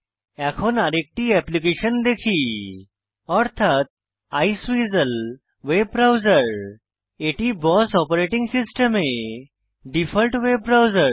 এখন আরেকটি এপ্লিকেশন দেখি অর্থাৎ আইসওয়েসেল ভেব ব্রাউসের এটি বস অপারেটিং সিস্টেমে ডিফল্ট ওয়েব ব্রাউজার